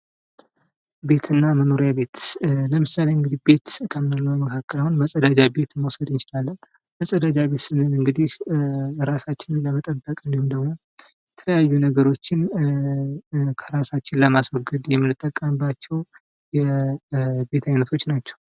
ቤት እና መኖሪያ ቤት ። ለምሳሌ እንግዲህ ቤት ከምንለው መካከል አሁን መፀዳጃ ቤት መውሰድ እንችላለን ። መፀዳጃ ቤት ስንል እንግዲህ ራሳችንን ለመጠበቅ እንዲሁም ደግሞ የተለያዩ ነገሮችን ከራሳችን ለማስወገድ የምንጠቀባቸው የቤት አይነቶች ናቸው ።